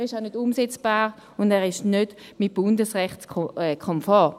Er ist auch nicht umsetzbar und er ist nicht bundesrechtskonform.